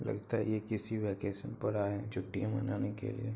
लगता है ये किसी वेकेसन पर आये हैं छुट्टिया मनाने के लिए।